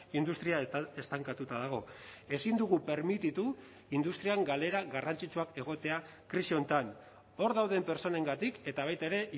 industria estankatuta dago ezin dugu permititu industrian galera garrantzitsuak egotea krisi honetan hor dauden pertsonengatik eta baita ere